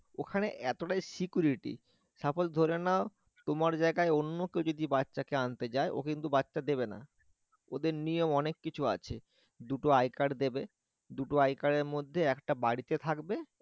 ওখানে এতটাই security suppose ধরে নাও তোমার জায়গায় অন্য কেউ যদি বাচ্চা কে আনতে যায় ও কিন্তু দেবে না ওদের নিয়ম অনেক কিছু আছে দুটো i card দেবে দুটো i card এর মধ্যে একটা বাড়িতে থাকবে